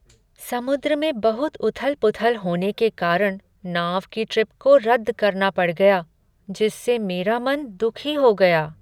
समुद्र में बहुत उथल पुथल होने के कारण नाव की ट्रिप को रद्द करना पड़ गया जिससे मेरा मन दुखी हो गया।